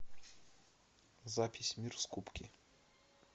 запись мир скупки